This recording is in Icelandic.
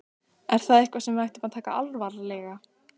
Er það eitthvað sem við ættum að taka alvarlega?